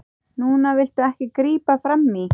Núna viltu ekki grípa frammí.